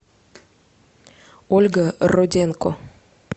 ольга роденко